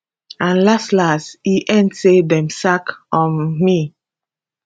and laslas e end say dem sack um me